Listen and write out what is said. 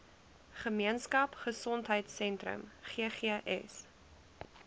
gemeenskap gesondheidsentrum ggs